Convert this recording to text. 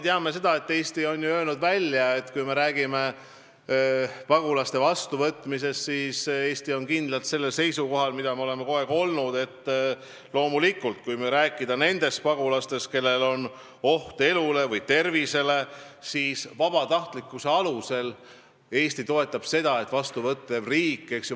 Teatavasti on Eesti välja öelnud, et kui me räägime pagulaste vastuvõtmisest, siis Eesti on kogu aeg olnud kindlalt seisukohal, et kui jutt on pagulastest, kelle elu või tervist ähvardab oht, siis vabatahtlikkuse alusel riik võib neid vastu võtta.